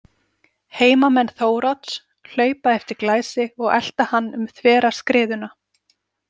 Heimamenn Þórodds hlaupa eftir Glæsi og elta hann um þvera skriðuna.